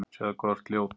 Sjáðu hvað þú ert ljót.